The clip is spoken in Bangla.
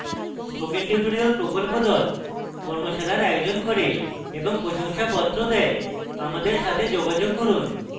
spoken tutorial প্রকল্প the কর্মশালার আয়োজন করে এবং প্রশংসাপত্র the আমাদের সাথে যোগাযোগ করুন